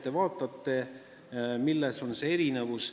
Te vaatate, milles on erinevus.